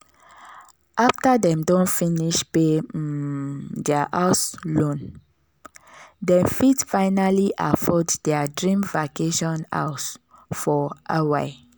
after dem don finish pay um their house loan dem fit finally afford their dream vacation house for hawaii.